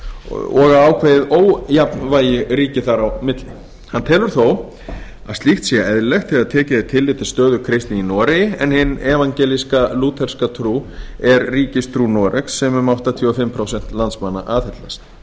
og að ákveðið ójafnvægi ríki þar á milli hann telur þó að slíkt sé eðlilegt þegar tillit er tekið til stöðu kristni í noregi en hin evangelíska lúterska trú er ríkistrú noregs sem um áttatíu og fimm prósent landsmanna aðhyllast